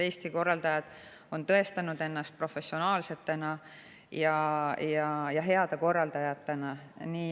Eesti korraldajad on tõestanud ennast professionaalsete ja heade korraldajatena.